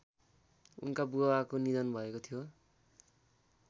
उनका बुबाको निधन भएको थियो